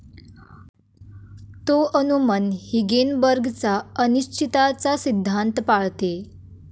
तो अनुमन हिगेनबर्गचा अनिश्चिताचा सिद्धांत पाळते.